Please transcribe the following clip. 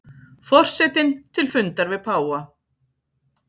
Forsetinn til fundar við páfa